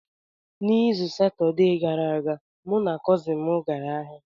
N’izu Satọde gara aga, mụ na kọzin m gara ahịa.